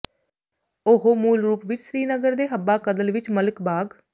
ਉਹ ਮੂਲ ਰੂਪ ਵਿੱਚ ਸ੍ਰੀਨਗਰ ਦੇ ਹੱਬਾਕਦਲ ਵਿੱਚ ਮਲਿਕ ਬਾਗ਼